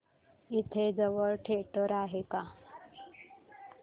इथे जवळ थिएटर आहे का